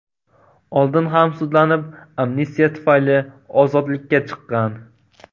oldin ham sudlanib, amnistiya tufayli ozodlikka chiqqan.